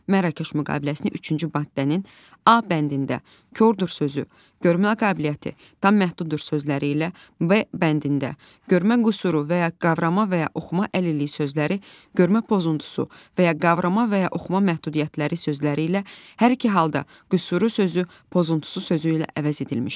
Mərakeş müqaviləsinin üçüncü maddənin A bəndində kor sözü, görmə qabiliyyəti tam məhduddur sözləri ilə B bəndində görmə qüsuru və ya qavrama və ya oxuma əlilliyi sözləri, görmə pozuntusu və ya qavrama və ya oxuma məhdudiyyətləri sözləri ilə hər iki halda qüsuru sözü pozuntusu sözü ilə əvəz edilmişdir.